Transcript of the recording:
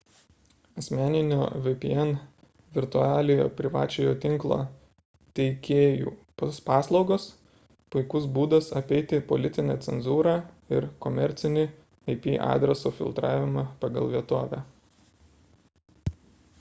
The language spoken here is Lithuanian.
asmeninio vpn virtualiojo privačiojo tinklo teikėjų paslaugos – puikus būdas apeiti ir politinę cenzūrą ir komercinį ip adreso filtravimą pagal vietovę